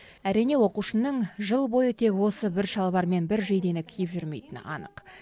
әрине оқушының жыл бойы тек осы бір шалбар мен бір жейдені киіп жүрмейтіні анық